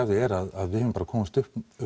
er að við höfum komist